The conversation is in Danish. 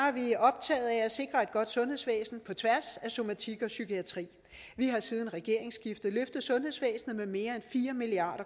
er vi optaget af at sikre et godt sundhedsvæsen på tværs af somatik og psykiatri vi har siden regeringsskiftet løftet sundhedsvæsenet med mere end fire milliard